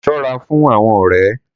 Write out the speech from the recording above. Sọ́ ra fún àwọn ọrẹ